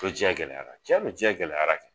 Ko jɛn gɛlɛyara cɛdon jɛn gɛlɛyara kɛ